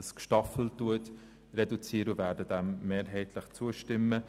Diesem werden wir mehrheitlich zustimmen.